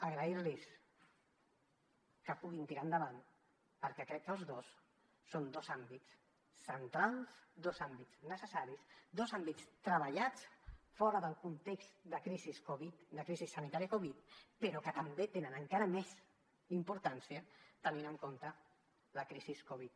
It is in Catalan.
agrair los que puguin tirar endavant perquè crec que els dos són dos àmbits centrals dos àmbits necessaris dos àmbits treballats fora del context de crisi covid de crisi sanitària covid però que també tenen encara més importància tenint en compte la crisi covid